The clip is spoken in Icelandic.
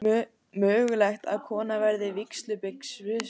Mögulegt að kona verði vígslubiskup